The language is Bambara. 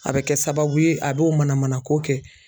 A bɛ kɛ sababu ye a bɛ o manamanako kɛ